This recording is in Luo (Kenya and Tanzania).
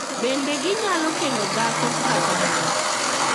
Bende ginyalo kendo dhako kata mon.